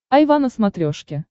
айва на смотрешке